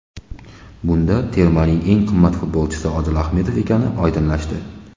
Bunda termaning eng qimmat futbolchisi Odil Ahmedov ekani oydinlashdi.